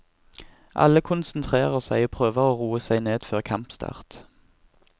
Alle konsentrerer seg og prøver å roe seg ned før kampstart.